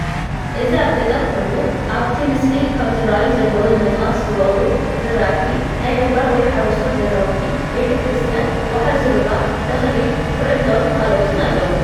እዚ አብ ገጠር ኮይኑ አብቲ ምስሊ ካብ ዝረአዩ ዘለወ ንምጥቃስ ዝቦቀሉ ዝረአቲ ፣ ናይ ገባር (ሓረስቶት) ገዛውቲ፣ ቤተ ክርስትያን፣ ወሓዚ ሩባ፣ ተክሊ ኩለዖን ካልአትን አለዉ፡፡